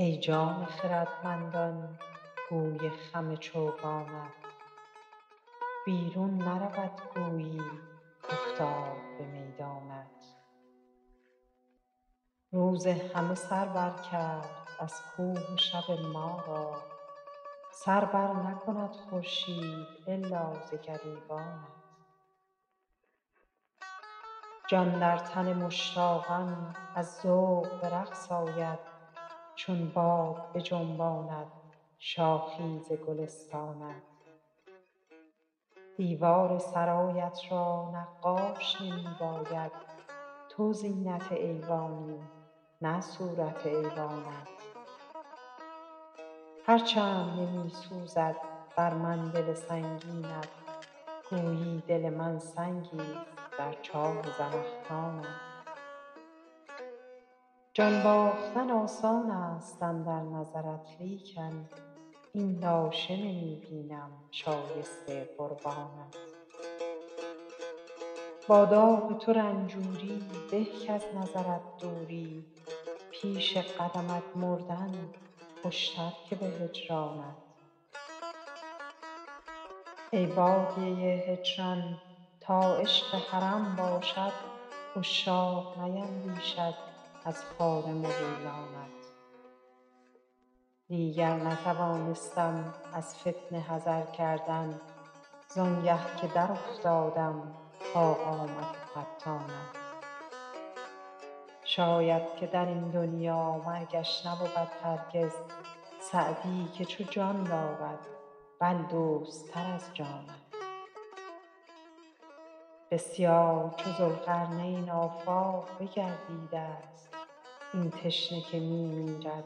ای جان خردمندان گوی خم چوگانت بیرون نرود گویی کافتاد به میدانت روز همه سر بر کرد از کوه و شب ما را سر بر نکند خورشید الا ز گریبانت جان در تن مشتاقان از ذوق به رقص آید چون باد بجنباند شاخی ز گلستانت دیوار سرایت را نقاش نمی باید تو زینت ایوانی نه صورت ایوانت هر چند نمی سوزد بر من دل سنگینت گویی دل من سنگیست در چاه زنخدانت جان باختن آسان است اندر نظرت لیکن این لاشه نمی بینم شایسته قربانت با داغ تو رنجوری به کز نظرت دوری پیش قدمت مردن خوشتر که به هجرانت ای بادیه هجران تا عشق حرم باشد عشاق نیندیشند از خار مغیلانت دیگر نتوانستم از فتنه حذر کردن زآنگه که در افتادم با قامت فتانت شاید که در این دنیا مرگش نبود هرگز سعدی که تو جان دارد بل دوست تر از جانت بسیار چو ذوالقرنین آفاق بگردیده ست این تشنه که می میرد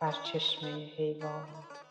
بر چشمه حیوانت